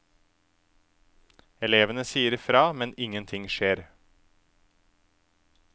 Elevene sier fra, men ingenting skjer.